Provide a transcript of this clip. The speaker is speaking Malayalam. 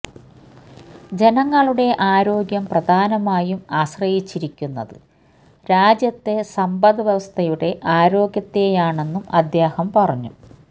ജനങ്ങളുടെ ആരോഗ്യം പ്രധാനമായും ആശ്രയിച്ചിരിക്കുന്നത് രാജ്യത്തെ സമ്പദ്വ്യവസ്ഥയുടെ ആരോഗ്യത്തേയാണെന്നും അദ്ദേഹം പറഞ്ഞു